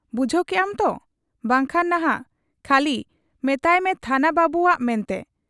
ᱵᱩᱡᱷᱟᱹᱣ ᱠᱮᱜ ᱟᱢ ᱛᱚ ? ᱵᱟᱝᱠᱷᱟᱱ ᱱᱷᱟᱜ ᱠᱷᱟᱹᱞᱤ ᱢᱮᱛᱟᱦᱟᱭᱢᱮ ᱛᱷᱟᱱᱟ ᱵᱟᱹᱵᱩᱣᱟᱜ ᱢᱮᱱᱛᱮ ᱾